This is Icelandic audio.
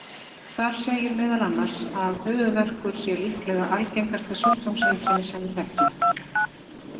Þar segir meðal annars að höfuðverkur sé líklega algengasta sjúkdómseinkenni sem við þekkjum.